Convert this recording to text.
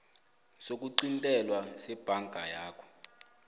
sokuqintelwa sebhanka yakho